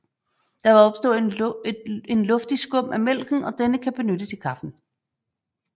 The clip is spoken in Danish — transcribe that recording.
Der vil opstå en luftig skum af mælken og denne kan benyttes i kaffen